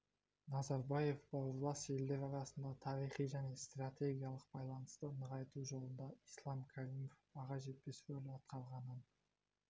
назарбаев бауырлас елдер арасында тарихи және стратегиялық байланысты нығайту жолында ислам каримов баға жетпес рөл атқарғанын